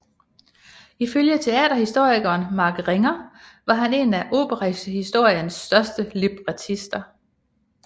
Ifølge teaterhistorikeren Mark Ringer var han en af operahistoriens største librettister